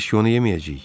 Biz ki onu yeməyəcəyik?